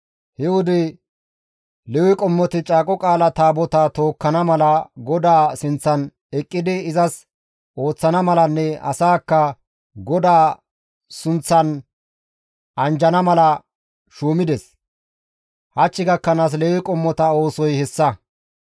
He wode Lewe qommoti Caaqo Qaala Taabotaa tookkana mala, GODAA sinththan eqqidi izas ooththana malanne asaakka GODAA sunththan anjjana mala shuumides; hach gakkanaas Lewe qommota oosoy hessa.